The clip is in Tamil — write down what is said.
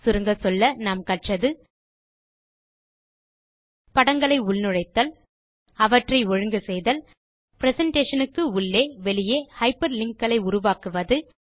சுருங்கச்சொல்ல நாம் கற்றது படங்களை உள்நுழைத்தல் அவற்றை ஒழுங்கு செய்தல் பிரசன்டேஷன் க்கு உள்ளே வெளியே ஹைப்பர்லிங்க் களை உருவாக்குவது